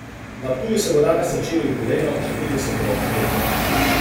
Na Ptuju se bo danes začelo jubilejno, že petdeseto Kurentovanje.